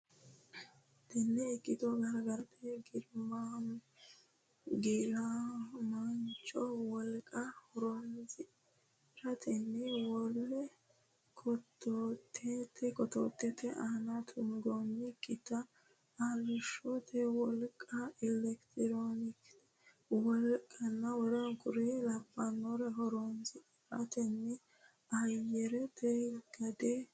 Tenne ikkito gargarate giiramaancho wolqa horonsi rantenni wole kotottote aana tuggannokkita arrishshote wolqa eletirikete wolqanna w k l horonsi ratenni ayyarete gade soorrama qarra furgaasa dandiinanni.